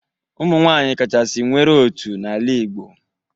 Ụmụ nwaanyị kachasị nwere otu n'ala Igbo.